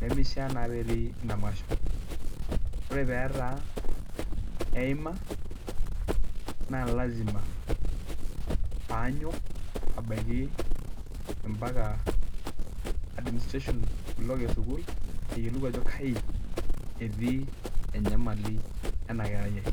nemishaa naa peetii ina masho, ore pee etaa eima naa lazima peeanyok aibaki mbaka administration block esukuul ayiolou ajo kayi etii enyamali ena kerai ai.